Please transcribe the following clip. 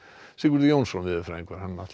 Sigurður Jónsson veðurfræðingur